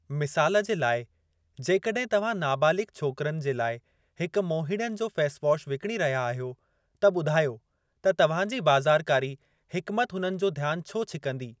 मिसालु जे लाइ, जेकड॒हिं तव्हां नाबालिगु़ छोकरनि जे लाइ हिकु मोहीड़नि जो फे़स वॉश विकणी रहिया आहियो, त ॿुधायो त तव्हांजी बा‍ज़ारकारी हिकमति हुननि जो ध्यान छो छिकंदी।